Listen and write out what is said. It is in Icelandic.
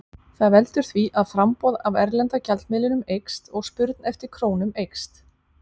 Það veldur því að framboð af erlenda gjaldmiðlinum eykst og spurn eftir krónum eykst.